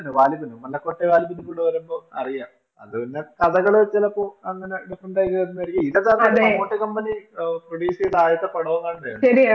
മണക്കോട്ട് വാലിബനും കൂടെ വരുമ്പോൾ അറിയാം അത് പിന്നെ കഥകള് ചിലപ്പോൾ അങ്ങനെ Different ആയി കേറുന്നത് ആയിരിക്കും ഇതൊക്കെ പിന്നെ Promote Company Produce ചെയ്ത ആദ്യത്തെ പടവങ്ങാണ്ടാണ്